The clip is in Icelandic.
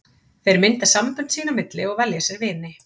Þeir mynda sambönd sín á milli og velja sér vini.